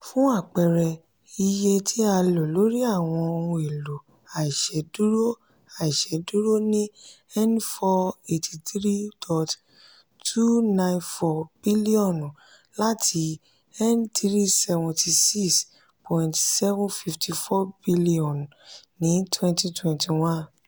fun apẹẹrẹ iye ti a lo lori awọn ohun elo aise duro aise duro ni n four hundred eighty three point two nine four bilionu lati n three hundred seventy six point seven five four bilionu ni twenty twenty one.